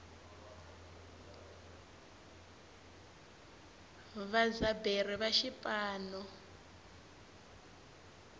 vadyaberi va swipano